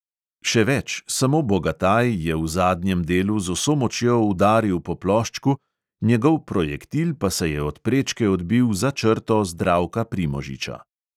Še več, samo bogataj je v zadnjem delu z vso močjo udaril po ploščku, njegov projektil pa se je od prečke odbil za črto zdravka primožiča.